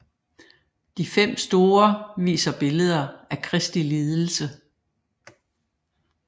De fem store viser billeder af Kristi lidelse